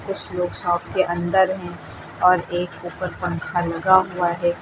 कुछ लोग शॉप के अंदर हैं और एक ऊपर पंखा लगा हुआ है।